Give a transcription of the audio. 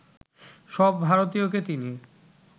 সব ভারতীয়কে তিনি